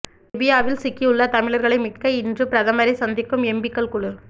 லிபியாவில் சிக்கியுள்ள தமிழர்களை மீட்க இன்று பிரதமரை சந்திக்கும் எம்பிக்கள் குழு